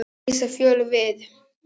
Börnin reisa Fjólu við.